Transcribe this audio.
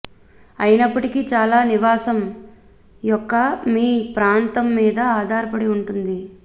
అయినప్పటికీ చాలా నివాసం యొక్క మీ ప్రాంతం మీద ఆధారపడి ఉంటుంది